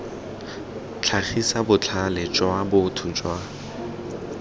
tlhagisa botlhale jwa botho jwa